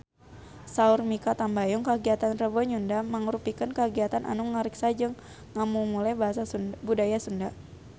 Saur Mikha Tambayong kagiatan Rebo Nyunda mangrupikeun kagiatan anu ngariksa jeung ngamumule budaya Sunda